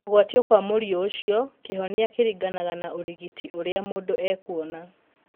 Kũgwatio kwa mũriũ ũcio kĩhonia kĩringanaga na ũrigiti ũrĩa mũndũ ekuona